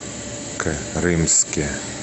крымске